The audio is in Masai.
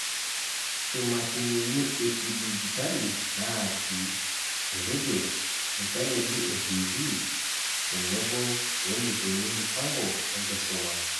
Imashinini ekidijitali naati (eradio, inchaneli etivii, tenebo weneikoni mpango enkisuma.)